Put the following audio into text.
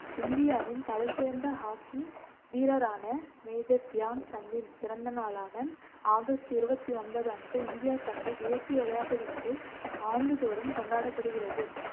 இந்தியாவின் தலைசிறந்த ஹாக்கி வீரரான மேஜர் தியான் சந்தின் பிறந்தநாளான ஆகஸ்ட் இருவத்தி ஒன்பது அன்று இந்தியா தனது தேசிய விளையாட்டு தினத்தை ஆண்டுதோறும் கொண்டாடப்படுகிறது